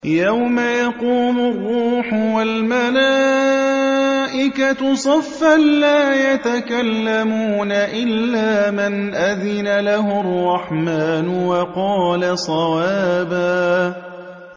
يَوْمَ يَقُومُ الرُّوحُ وَالْمَلَائِكَةُ صَفًّا ۖ لَّا يَتَكَلَّمُونَ إِلَّا مَنْ أَذِنَ لَهُ الرَّحْمَٰنُ وَقَالَ صَوَابًا